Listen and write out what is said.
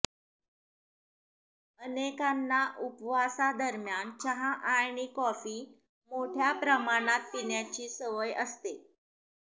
अनेकांना उपवासा दरम्यान चहा आणि कॉफी मोठ्या प्रमाणात पिण्याची सवय असते